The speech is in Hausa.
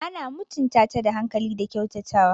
Ana mutunta ta da hankali da kyautatawa.